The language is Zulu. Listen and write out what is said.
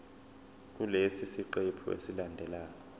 kulesi siqephu esilandelayo